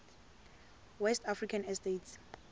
west african states